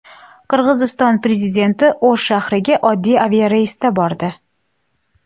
Qirg‘iziston prezidenti O‘sh shahriga oddiy aviareysda bordi .